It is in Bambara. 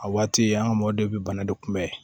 A waati an ka mɔgɔ de bɛ bana de kunbɛn